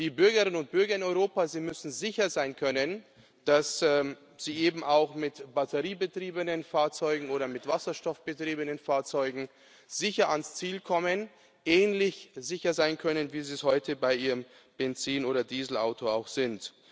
Die Bürgerinnen und Bürger in Europa, sie müssen sicher sein können, dass sie eben auch mit batteriebetriebenen Fahrzeugen oder mit wasserstoffbetriebenen Fahrzeugen sicher ans Ziel kommen ähnlich sicher sein können, wie sie es heute bei ihrem Benzin oder Dieselauto auch sind.